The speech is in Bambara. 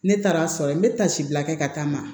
Ne taara a sɔrɔ yen n bɛ tasi bila kɛ ka taa ma